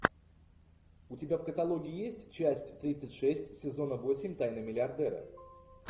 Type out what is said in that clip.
у тебя в каталоге есть часть тридцать шесть сезона восемь тайны миллиардера